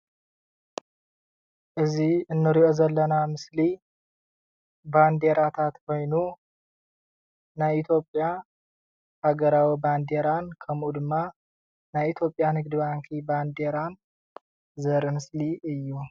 እዚ ንሪኦ ዘለና ምስሊ ባንዴራታት ኮይኑ ናይ ኢትዮጲያ ሃገራዊ ባንዴራን ከምኡ ድማ ናይ ኢትዮጵያ ንግዲ ባንኪ ባንዴራ ዘርኢ ምስሊ እዩ ።